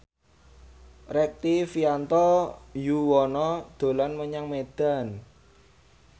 Rektivianto Yoewono dolan menyang Medan